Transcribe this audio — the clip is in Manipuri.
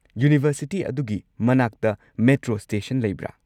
ꯌꯨꯅꯤꯚꯔꯁꯤꯇꯤ ꯑꯗꯨꯒꯤ ꯃꯅꯥꯛꯇ ꯃꯦꯇ꯭ꯔꯣ ꯁ꯭ꯇꯦꯁꯟ ꯂꯩꯕ꯭ꯔꯥ?